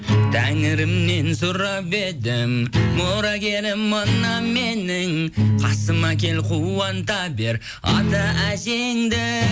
тәңірімнен сұрап едім мұрагерім мына менің қасыма кел қуанта бер ата әжеңді